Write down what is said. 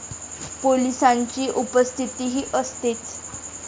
पोलिसांची उपस्थितीही असतेच.